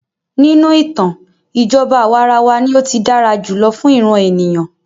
Nínú ìtàn, ìjọba àwàrawa ní o tí dára jùlọ fún ìràn ènìyàn.